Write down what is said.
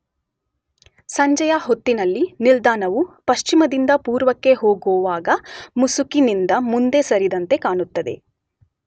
ಸಂಜೆಯ ಹೊತ್ತಿನಲ್ಲಿ ನಿಲ್ದಾಣವು ಪಶ್ಚಿಮದಿಂದ ಪೂರ್ವಕ್ಕೆ ಹೋಗುವಾಗ ಮುಸುಕಿನಿಂದ ಮುಂದೆ ಸರಿದಂತೆ ಕಾಣುತ್ತದೆ